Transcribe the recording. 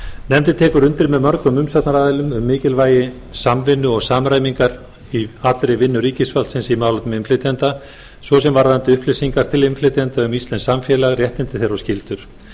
nefndin tekur undir með mörgum umsagnaraðilum um mikilvægi samvinnu og samræmingar í allri vinnu ríkisvaldsins í málefnum innflytjenda svo sem varðandi upplýsingar til innflytjenda um íslenskt samfélag réttindi þeirra og skyldur